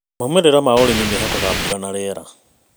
Maumĩrĩra ma ũrĩmi mehokaga mbura na rĩera.